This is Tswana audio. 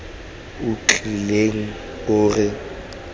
o o tiileng o re